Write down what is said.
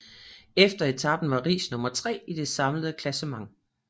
Efter etapen var Riis nummer tre i det samlede klassement